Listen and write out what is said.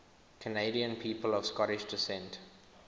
canadian people of scottish descent